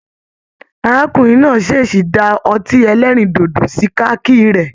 Arákùnrin náà ṣeesí dá ọtí ẹlẹrindodo sí kaki rẹ.